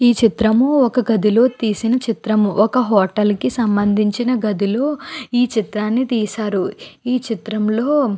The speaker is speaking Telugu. ఈ చిత్రం ఒక గదిలో తీసిన చిత్రము. ఒక హోటల్ కి సంబంధించిన గదులు ఈ చిత్రని తీశారు. ఈ చిత్రం లో--